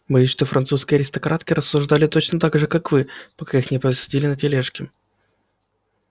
боюсь что французские аристократки рассуждали точно так же как вы пока их не посадили на тележки